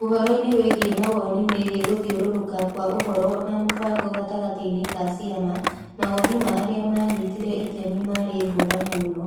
Ũhoro-inĩ wĩgiĩ mawoni megiĩ gũthiũrũrũka kwa ũhoro na mũbango gatagatĩ-inĩ ka ciama, mawoni ma arĩa maanyitire itemi maarĩ ngũrani mũno.